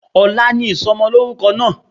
Ọ̀la ni ìsomolórúko náà